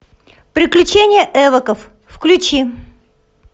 приключения эвоков включи